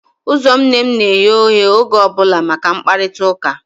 Ụzọ nne m na-eghe oghe oge ọ bụla maka mkparịtaụka